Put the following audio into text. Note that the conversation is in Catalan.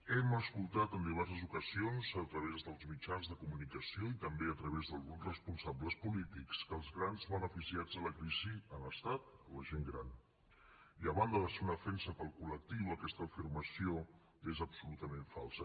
hem escoltat en diverses ocasions a través dels mitjans de comunicació i també a través d’alguns responsables polítics que els grans beneficiats de la crisi han estat la gent gran i a banda de ser una ofensa per al col·lectiu aquesta afirmació és absolutament falsa